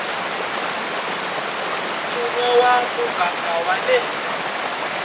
mfumo wa muganga wa le